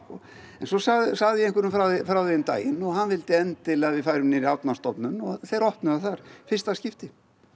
en svo sagði sagði ég einhverjum frá því um daginn og hann vildi endilega að við færum niður í Árnastofnun og þeir opnuðu það þar í fyrsta skipti